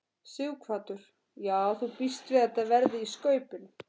Sighvatur: Já þú bíst við að þetta verði í skaupinu?